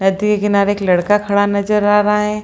नदी के किनारे एक लड़का खड़ा नजर आ रहा है|